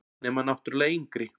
Nema náttúrlega yngri.